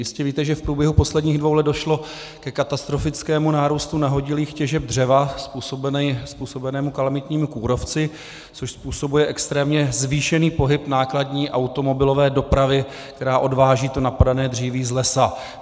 Jistě víte, že v průběhu posledních dvou let došlo ke katastrofickému nárůstu nahodilých těžeb dřeva způsobenému kalamitními kůrovci, což způsobuje extrémně zvýšený pohyb nákladní automobilové dopravy, která odváží to napadané dříví z lesa.